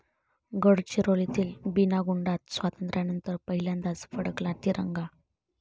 गडचिरोलीतील बीनागुंडात स्वातंत्र्यानंतर पहिल्यांदाच फडकला तिरंगा